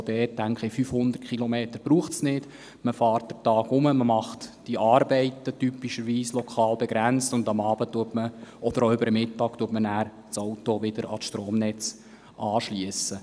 Es braucht nicht 500 Kilometer, man fährt höchstens während eines Tages, erledigt die Arbeiten, typischerweise regional begrenzt, und schliesst am Mittag oder am Abend dann das Auto an das Stromnetz an.